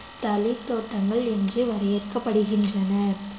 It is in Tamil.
தளிர் தோட்டங்கள் என்று வறையரைக்கப்படுகின்றன